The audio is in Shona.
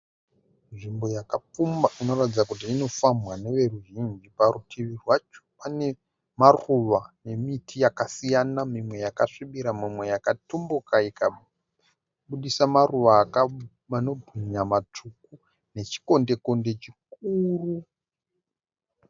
Nzvimbo yakapfumba inoratidza kuti inofambwa neveruzhinji. Parutivi rwacho pane maruva nemiti yakasiyana. Mimwe yakasvibira. Mimwe yakatumbuka ikabudisa maruva anobwinya matsvuku nechikonde konde chikuru.